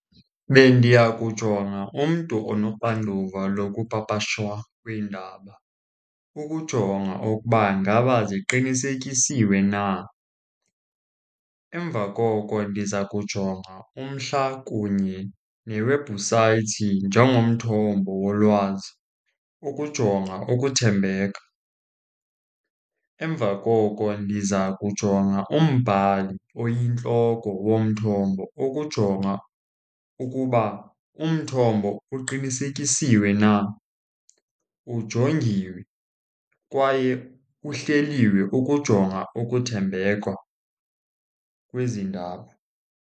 Bendiya kujonga umntu onoxanduva lokupapashwa kweendaba, ukujonga ukuba ngaba ziqinisekisiwe na. Emva koko ndiza kujonga umhla kunye newebhusayithi njengomthombo wolwazi ukujonga ukuthembeka. Emva koko ndiza kujonga umbhali oyintloko womthombo, ukujonga ukuba umthombo uqinisekisiwe na, ujongiwe, kwaye kuhleliwe, ukujonga ukuthembeka kwezi ndaba.